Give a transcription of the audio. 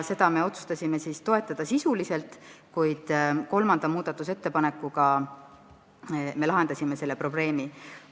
Seda me otsustasime sisuliselt toetada, kolmanda muudatusettepanekuga me selle probleemi lahendasime.